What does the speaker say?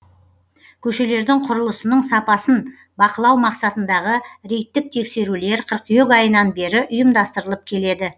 көшелердің құрылысының сапасын бақылау мақсатындағы рейдтік тексерулер кыркүйек айынан бері ұйымдастырылып келеді